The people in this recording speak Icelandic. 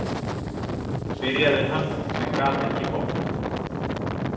, byrjaði hann en gat ekki botnað.